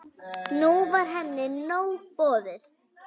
Nú var henni nóg boðið.